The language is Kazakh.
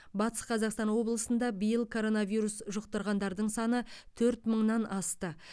батыс қазақстан облысында биыл коронавирус жұқтырғандардың саны төрт мыңнан асты